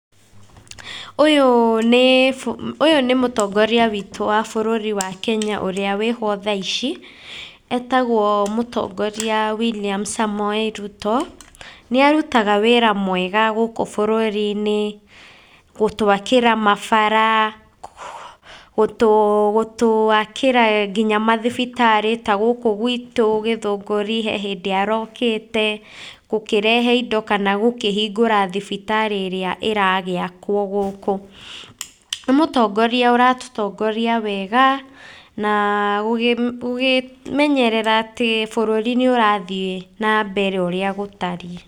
Ũyũ nĩ, ũyũ nĩ mũtongoria witũ wa bũrũri wa Kenya ũrĩa wĩ ho tha ici, etagwo mũtongoria William Samoei Ruto. Nĩ arutaga wĩra mwega gũkũ bũrũri-inĩ, gũtwakĩra mabara, gũtũakĩra nginya mathibitarĩ ta gũkũ gwitũ Gĩthũngũri, he hĩndĩ arokĩte gũkĩrehe indo, kana gũkĩhingũra thibitarĩ ĩrĩa ĩragĩakwo gũkũ. Nĩ mũtongoria ũratũtongoria wega na gũgĩmenyerera atĩ bũrũri nĩ ũrathiĩ na mbere ũrĩa gũtariĩ.